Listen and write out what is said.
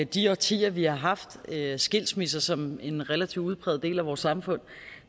de årtier vi har haft skilsmisser som en relativt udpræget del af vores samfund